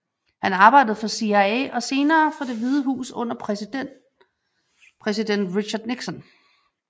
Han arbejdede for CIA og senere for Det Hvide Hus under præsiden Richard Nixon